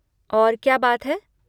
और क्या बात है?